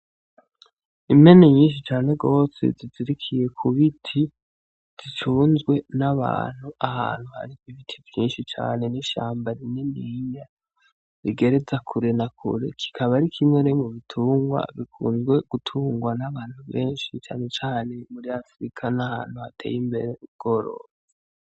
Impene nyinshi cane gose zizirikiye ku biti, zicunzwe n'abantu ahantu hari ibiti vyinshi cane n'ishamba rininiya rigereza kure na kure, kikaba ari kimwe rero mu bitungwa bikunzwe gutungwa n'abantu benshi cane cane muri Afirika, n'ahantu hateye imbere mu bworozi.